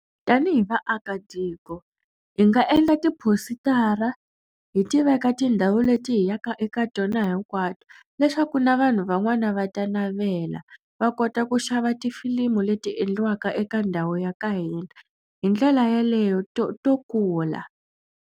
Tanihi vaakatiko hi nga endla tipositara hi tiveka tindhawu leti hi yaka eka tona hinkwato leswaku na vanhu van'wana va ta navela va kota ku xava tifilimi leti endliwaka eka ndhawu ya ka hina. Hi ndlela yeleyo to to kula.